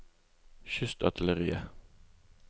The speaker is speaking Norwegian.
kystartilleriet